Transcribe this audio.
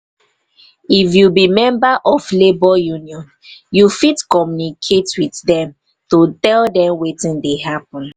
if you be member of labour union you fit communicate with dem to tell dem wetin dey happen